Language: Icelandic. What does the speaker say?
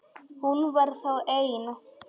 Hún var þá ein!